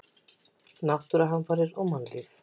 Náttúruhamfarir og mannlíf.